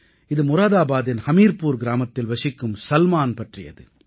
இது முராதாபாதின் ஹமீர்புர் கிராமத்தில் வசிக்கும் சல்மான் பற்றியது